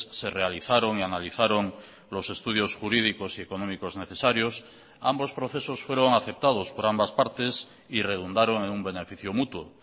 se realizaron y analizaron los estudios jurídicos y económicos necesarios ambos procesos fueron aceptados por ambas partes y redundaron en un beneficio mutuo